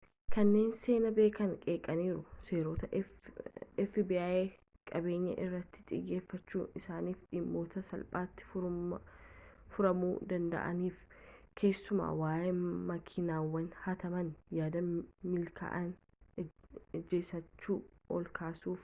kanneen seenaa beekan qeeqaniiru seerotaa fbi qabeenya irratti xiyyeeffachu isaaniif dhimmoota salphaati furamuu danda'aniif keessumaa waa'ee makiinawwan haatamanii yaada milkaa'ina ejansiicha ol kaasuf